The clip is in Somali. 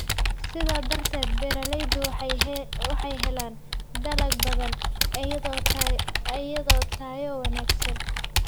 Sidaa darteed, beeralaydu waxay helaan dalag badan iyo tayo wanaagsan.